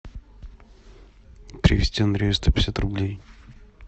перевести андрею сто пятьдесят рублей